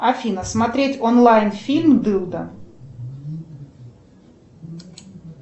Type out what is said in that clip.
афина смотреть онлайн фильм дылда